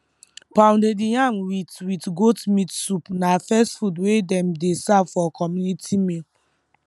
pounded yam with with goat meat soup na first food wey dem dey serve for community meal